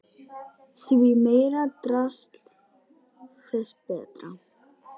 Því meira drasl þess betra.